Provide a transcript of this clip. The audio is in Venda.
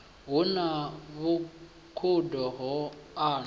hu na vhukhudo ho anwa